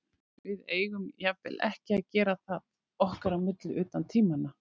Við eigum jafnvel ekki að gera það okkar á milli utan tímanna.